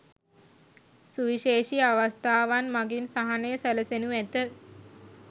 සුවිශේෂී අවස්ථාවන් මගින් සහනය සැලසෙනු ඇත.